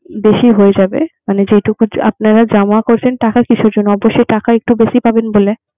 বেশি হয়ে যাবে। মানে যেটুকু আপনারা জমা করবেন টাকা কিসের জন্য, অবশ্যই টাকা একটু বেশি পাবেন বলে